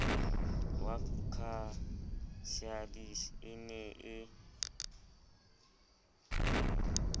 wa casalis e ne e